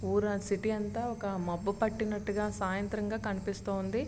ఊరు సిటీ అంతా ఒక మబ్బు పటినట్టుగా సాయంత్రంగా కనిపిస్తున్నది.